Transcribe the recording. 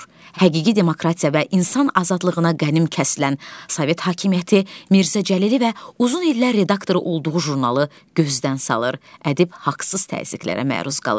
Həqiqi demokratiya və insan azadlığına qənim kəsilən Sovet hakimiyyəti Mirzə Cəlili və uzun illər redaktoru olduğu jurnalı gözdən salır, ədib haqsız təzyiqlərə məruz qalır.